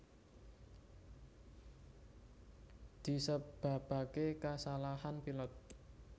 Disebabake kasalahan pilot